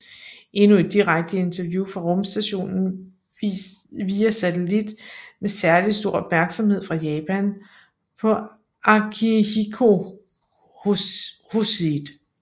Endnu et direkte interview fra rumstationen via satellit med særlig stor opmærksomhed fra Japan på Akihiko Hoshide